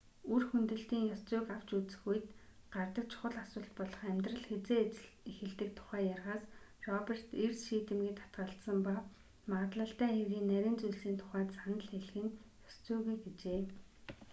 үр хөндөлтийн ёс зүйг авч үзэх үед гардаг чухал асуулт болох амьдрал хэзээ эхэлдэг тухай ярихаас роберт эрс шийдэмгий татгалзсан ба магадлалтай хэргийн нарийн зүйлсийн тухайд санал хэлэх нь ёс зүйгүй гэжээ